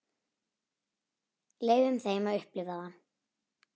Leyfum þeim að upplifa það.